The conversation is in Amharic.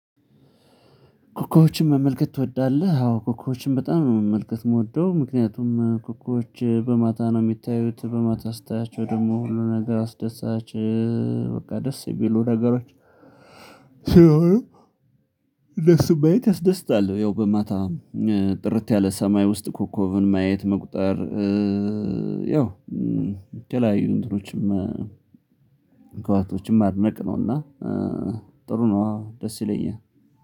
ኮከቦችን መመልከት ትወዳለህ? አዎ ኮከቦችን በጣም ነው መመልከት ምወደው። ምክንያቱም ኮከቦች በማታ ነው ሚታዩት በማታ ስታያቸው ደግሞ ሁሉ ነገር አስደሳች በቃ ደስ የሚሉ ነገሮች ስለሆኑ እነሱን ማየት ያስደስታል። ያው በማታ ጥርት ያለ ሰማይ ውስጥ ኮከብን ማየት መቁጠር ያው የተለያዩ እንትኖችም ከዋክብቶችን ማድነቅ ነውና ጥሩ ነው አዎ ደስ ይለኛል